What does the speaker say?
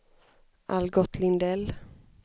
Algot Lindell